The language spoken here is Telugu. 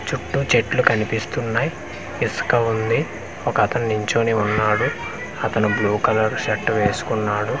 చుట్టూ చెట్లు కనిపిస్తున్నాయ్ ఇసక ఉంది ఒకతను నించొని ఉన్నాడు అతను బ్లూ కలర్ షర్ట్ వేసుకున్నాడు.